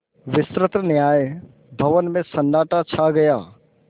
विस्तृत न्याय भवन में सन्नाटा छा गया